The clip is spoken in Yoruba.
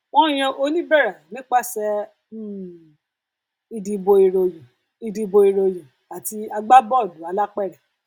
wọn yan oníbẹrẹ nípasẹ um ìdìbò ìròyìn ìdìbò ìròyìn àti agbábọọlù alápèrẹ